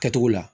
Kɛcogo la